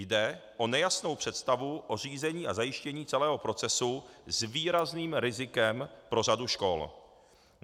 Jde o nejasnou představu o řízení a zajištění celého procesu s výrazným rizikem pro řadu škol.